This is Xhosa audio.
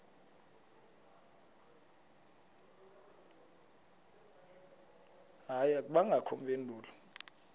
hayi akubangakho mpendulo